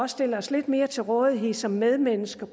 stille os lidt mere til rådighed som medmennesker